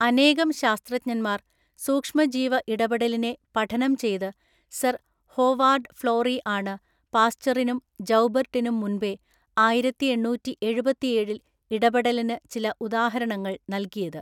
അനേകം ശാസ്ത്രജ്ഞന്മാർ സൂക്ഷ്മജീവ ഇടപെടലിനെ പഠനം ചെയ്തു സർ ഹോവാർഡ് ഫ്ലോറി ആണ് പാസ്ചറിനും ജൗബർട്ടിനും മുൻപേ ആയിരത്തിഎണ്ണൂറ്റിഎഴുപത്തിഎഴില്‍ ഇടപെടലിന് ചില ഉദാഹരണങ്ങൾ നൽകിയത്.